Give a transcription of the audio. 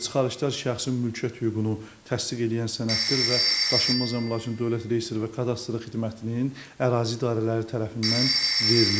Çıxarışlar şəxsin mülkiyyət hüququnu təsdiq eləyən sənəddir və daşınmaz əmlakın dövlət reyestri və kadastr xidmətinin ərazi idarələri tərəfindən verilir.